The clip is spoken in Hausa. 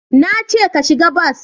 Na ce ka shiga bas!